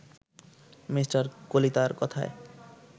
Me. কলিতার কথায়